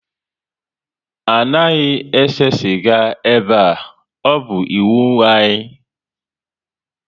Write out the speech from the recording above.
Anaghị ese sịga ebe a, ọ bụ iwu anyị